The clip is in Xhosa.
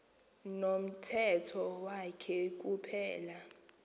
nomthetho wakhe kuphela